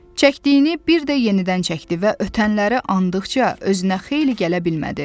Çəkdiyini bir də yenidən çəkdi və ötənləri anlıqca özünə xeyli gələ bilmədi.